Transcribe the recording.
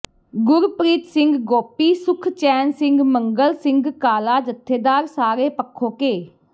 ਗੁਰਪ੍ਰੀਤ ਸਿੰਘ ਗੋਪੀ ਸੁਖਚੈਨ ਸਿੰਘ ਮੰਗਲ ਸਿੰਘ ਕਾਲਾ ਜਥੇਦਾਰ ਸਾਰੇ ਪਖੋਕੇ